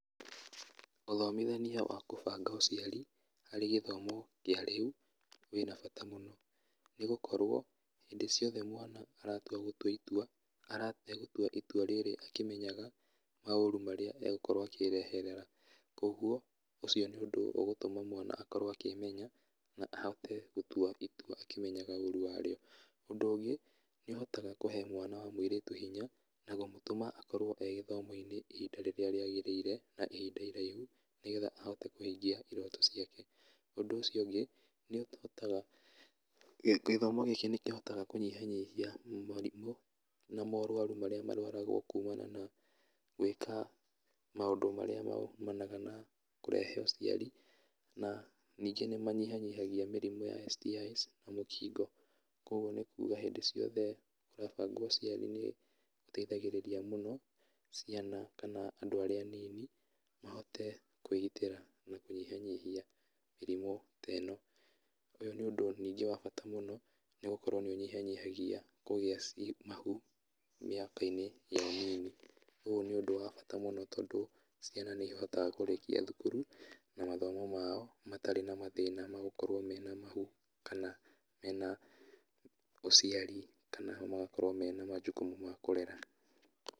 Ũthomithania wa kũbanga ũciari harĩ gĩthomo kĩa rĩu, wĩ na bata mũno, nĩgũkorwo hĩndĩ ciothe mwana aratua gũtua itua, aratua gũtua itua rĩrĩa akĩmenyaga maũru marĩa egũkorwo akĩreherera, koguo ũcio nĩ ũndũ ũgũtũma mwana akorwo akĩmenya na ahote gũtua itua akĩmenyaga ũru warĩo, ũndũ ũngĩ, nĩũhotaga kũhe mwana wa mũirĩtu hinya, na kũmũtũma akorwo e gĩthomo-inĩ ihinda rĩrĩa rĩagĩrĩire na ihinda iraihu, nĩgetha ahote kũhingia irooto ciake, ũndũ çio ũngĩ, nĩũhotaga, gĩthomo gĩkĩ nĩkĩhotaga kũnyihanyihia mũrimũ na morwaru marĩa marwaragwo kumana na gwĩka maũndũ marĩa maumanaga na kũrehe ũciari, na ningĩ nĩmanyihanyihagia mĩrimũ ya STI's na mũkingo, koguo nĩkuga hingo ciothe ũrabangwo ũciari nĩ, gũteithagĩrĩria mũno ciana kana andũ arĩa anini mahote kũgitĩra na kũnyihanyihia mĩrimũ te no, ũyũ nĩ ũndũ ningĩ wa bata mũno nĩgũkorwo nĩũnyihanyihagia kũgĩa ci mahu mĩaka-inĩ ya ũnini, ũyũ nĩ ũndũ wa bata mũno, tondũ ciana nĩihotaga kũrĩkia thukuru, na mathomo mao matarĩ na mathĩna ma gũkorwo mena mahu, kana mena ũciari kana magakorwo mena ma jukumu ma kũrera.